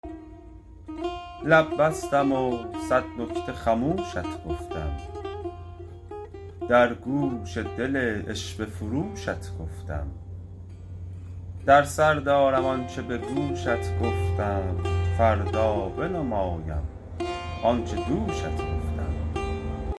لب بستم و صد نکته خموشت گفتم در گوش دل عشوه فروشت گفتم در سر دارم آنچه به گوشت گفتم فردا بنمایم آنچه دوشت گفتم